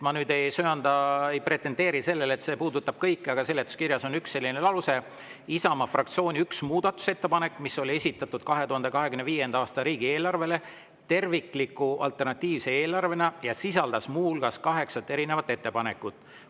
Ma ei pretendeeri sellele, et see kõigi, aga seletuskirjas on selline lause: "Isamaa fraktsiooni 1 muudatusettepanek, mis oli esitatud 2025. aasta riigieelarvele tervikliku alternatiivse eelarvena ja sisaldas muuhulgas 8 erinevat ettepanekut.